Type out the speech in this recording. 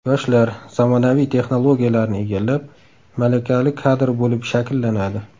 Yoshlar zamonaviy texnologiyalarni egallab, malakali kadr bo‘lib shakllanadi.